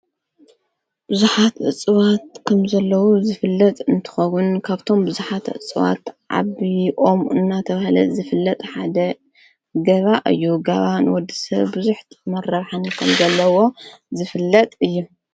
ብዙኃት እጽዋት ከም ዘለዉ ዝፍለጥ እንትኸዉን ካብቶም ብዙኃት እጽዋት ዓብይ ኦም እናተብሃለ ዝፍለጥ ሓደ ጋባ እዩ ጋባን ወዲ ሰብ ብዙሕ ጥቅምን ረብሓን ከም ዘለዎ ዝፍለጥ እዩ።